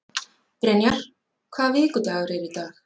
Brynjar, hvaða vikudagur er í dag?